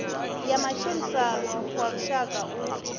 ya matshilisano wa lushaka u